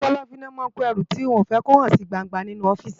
Inú kòlòfin lò má n kó èrú tiwòn fè kó hán si gbángbá ninú òfìsí